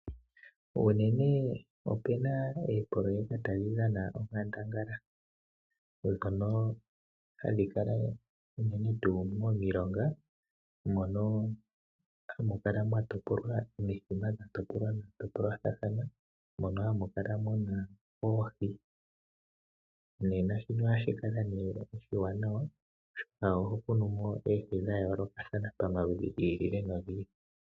Unene opena oopololeka tadhi dhana onkandangala, dhono hadhi kala unene tuu momilonga. Mono hamu kala mwa topolwa omithima dha topolwa dha topolwathana, mono hamu kala muna oohi. Nena shino ohashi kala nee oshiwanawa oshoka oho kunu mo oohi dha yoolokathana, pamaludhi gi ili nogi ili.